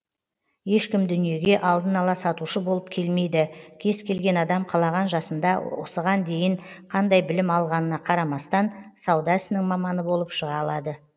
ешкім дүниеге алдын ала сатушы болып келмейді кез келген адам қалаған жасында осыған дейін қандай білім алғанына қарамастан сауда ісінің маманы болып шыға алады